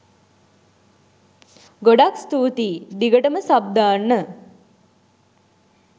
ගොඩාක් ස්තුතියි.දිගටම සබ් දාන්න